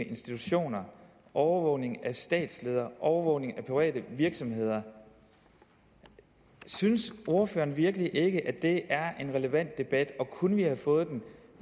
institutioner overvågning af statsledere overvågning af private virksomheder synes ordføreren virkelig ikke at det er en relevant debat og kunne vi have fået den